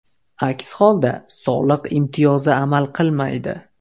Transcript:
Aks holda, soliq imtiyozi amal qilmaydi.